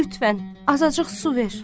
Lütfən, azacıq su ver.